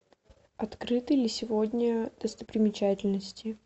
открыты ли сегодня достопримечательности